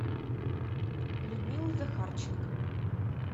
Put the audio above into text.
людмилу захарченко